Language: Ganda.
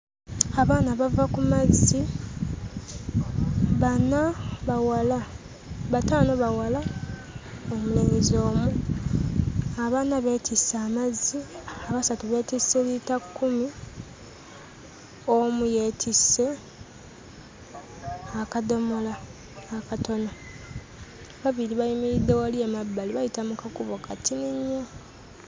Abaana bava ku mazzi, bana bawala bataano bawala, omulenzi omu. Abana beetisse amazzi, abasatu beetisse liitakkumi, omu yeetisse akadomola akatono. Ababiri bayimiridde wali emabbali, bayita mu kakubo katini nnyo.